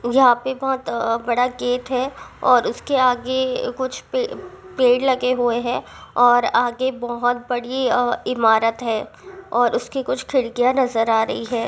यहाँ पे बहुत अ बड़ा गेट है और उसके आगे कुछ पेड़ पेड़ लगे हुए हैं और आगे बहुत बड़ी अ इमारत है और उसकी कुछ खिड़कियाँ नजर आ रही है।